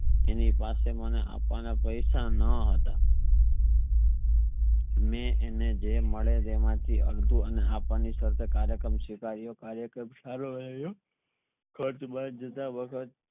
અને પાસે મને આપવાના પૈસા ન હતા મે અને જે મેડ એમાં થી અડધુ આપના ની સરત સારો રહ્યો વખત